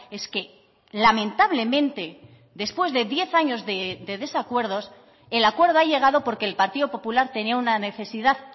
es que lamentablemente después de diez años de desacuerdos el acuerdo ha llegado porque el partido popular tenía una necesidad